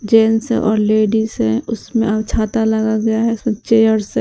Gents हैं और ladies हैं उसमें और छाता लगा गया है चेयर्स हैं।